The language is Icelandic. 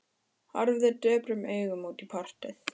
Horfði döprum augum út í portið.